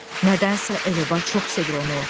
Nədənsə el-oba çox sevir onu.